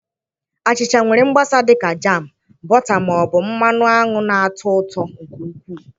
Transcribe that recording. Achịcha nwere mgbasa dị ka jam, bọta ma ọ bụ mmanụ aṅụ na-atọ ụtọ nke ukwuu.